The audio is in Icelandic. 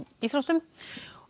íþróttum og